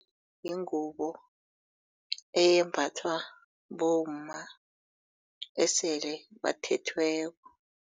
Yingubo embathwa bomma esele bathethweko.